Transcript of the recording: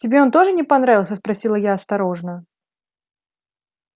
тебе он тоже не понравился спросила я осторожно